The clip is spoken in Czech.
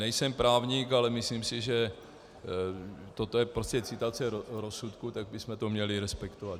Nejsem právník, ale myslím si, že toto je prostě citace rozsudku, tak bychom to měli respektovat.